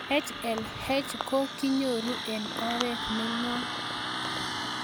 HLH ko kinyoru eng' oret ne ng'om